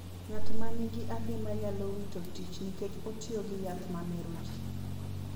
Ng'at ma nigi adimba nyalo wito tich nikech otiyo gi yath ma mero ji,